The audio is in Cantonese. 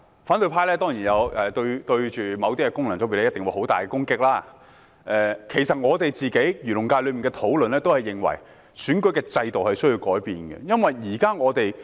反對派對某些功能界別當然作出很大的攻擊，其實在我代表的漁農界中，我們也認為須改變現有的選舉制度。